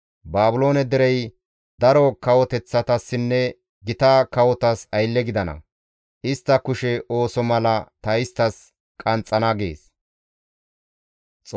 Baabiloone derey daro kawoteththatassinne gita kawotas aylle gidana; istta kushe ooso mala ta isttas qanxxana» gees.